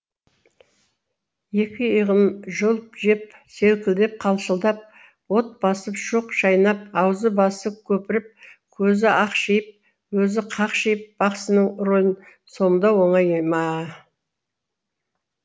екі иығын жұлып жеп селкілдеп қалшылдап от басып шоқ шайнап аузы басы көпіріп көзі ақшиып өзі қақшиып бақсының рөлін сомдау оңай ма